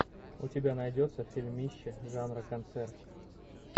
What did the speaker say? у тебя найдется фильмище жанра концерт